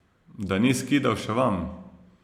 Da ni skidal še vam?